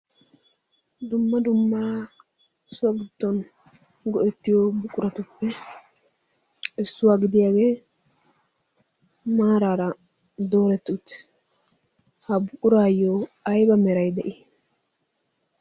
dumma dumma so giddon go7ettiyo buquratuppe issuwaa gidiyaagee maaraara dooretti uttis. ha buquraayyo aiba merai de7ii?